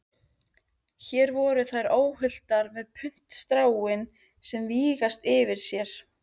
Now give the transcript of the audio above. Hér voru þær óhultar með puntstráin að vingsast yfir sér.